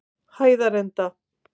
Hæðarenda